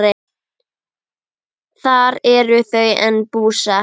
Þar eru þau enn búsett.